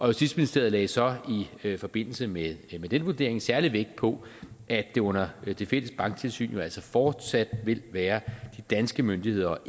justitsministeriet lagde så i forbindelse med den vurdering særlig vægt på at det under det fælles banktilsyn jo altså fortsat vil være de danske myndigheder og